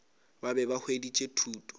ba be ba hweditše thuto